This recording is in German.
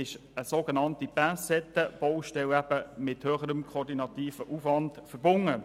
Eine sogenannte Pincettenbaustelle ist demzufolge mit höherem koordinativem Aufwand verbunden.